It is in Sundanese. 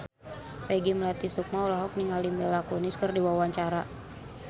Peggy Melati Sukma olohok ningali Mila Kunis keur diwawancara